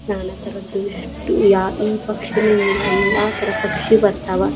ನಾನಾ ತರದ್ದು ಎಸ್ಟ ಈ ಪಕ್ಷಿ ಅನ್ನಂಗಿಲ್ಲ ಎಲ್ಲಾ ತರ ಪಕ್ಷಿ ಬರ್ತಾವ.